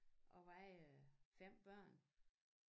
Og veje 5 børn